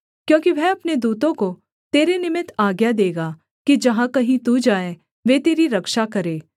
क्योंकि वह अपने दूतों को तेरे निमित्त आज्ञा देगा कि जहाँ कहीं तू जाए वे तेरी रक्षा करें